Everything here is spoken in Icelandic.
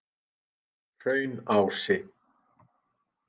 Hraunási